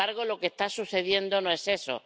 Y, sin embargo, lo que está sucediendo no es eso.